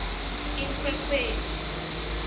inkhwekhweti